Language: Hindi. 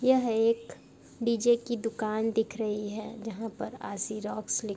यह एक डी_जे की दुकान दिख रही है जहाँ पर आशी रॉक्स लिख --